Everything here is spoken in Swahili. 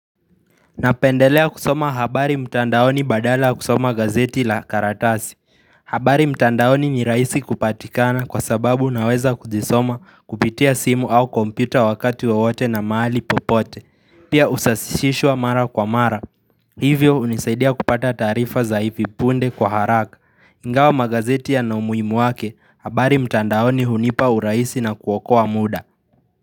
Napendelea kusoma habari mtandaoni badala ya kusoma gazeti la karatasi. Habari mtandaoni ni rahisi kupatikana kwa sababu naweza kuzisoma kupitia simu au kompyuta wakati wowote na mahali popote. Pia husasishishwa mara kwa mara. Hivyo hunisaidia kupata taarifa za hivi punde kwa haraka. Ingawa magazeti yana umuhimu wake. Habari mtandaoni hunipa urahisi na kuokoa muda.